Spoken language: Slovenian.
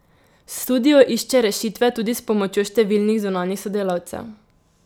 Studio išče rešitve tudi s pomočjo številnih zunanjih sodelavcev.